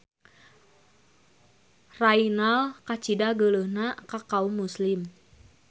Raynald kacida geuleuhna ka kaum muslim.